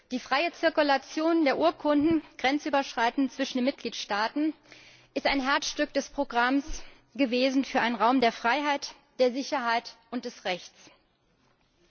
Die freie Zirkulation der Urkunden grenzüberschreitend zwischen den Mitgliedstaaten ist ein Herzstück des Programms für einen Raum der Freiheit, der Sicherheit und des Rechts gewesen.